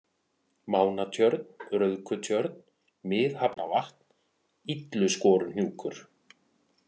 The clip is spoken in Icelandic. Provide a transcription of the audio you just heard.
Mánatjörn, Rauðkutjörn, Mið-Hafnavatn, Illuskoruhnjúkur